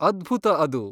ಅದ್ಭುತ ಅದು!